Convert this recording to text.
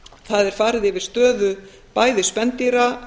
það er farið yfir stöðu bæði spendýra